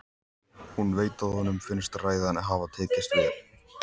Hún veit að honum finnst ræðan hafa tekist vel.